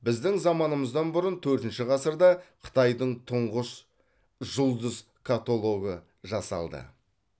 біздің заманымыздан бұрын төртінші ғасырда қытайдың тұңғыш жұлдыз катологы жасалды